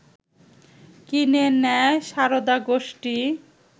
কিনে নেয় সারদা গোষ্ঠী